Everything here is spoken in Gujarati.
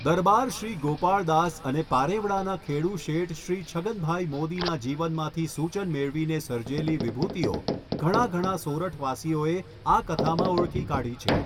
દરબારશ્રી ગોપાળદાસ અને પારેવડાના ખેડુ શેઠશ્રી છગનભાઈ મોદીના જીવનમાંથી સૂચન મેળવીને સરજેલી વિભૂતિઓ ઘણા ઘણા સોરઠવાસીઓએ આ કથામાં ઓળખી કાઢી છે.